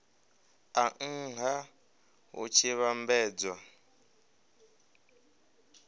a nha hu tshi vhambedzwa